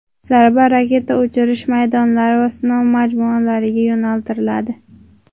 Zarba raketa uchirish maydonlari va sinov majmualariga yo‘naltiriladi.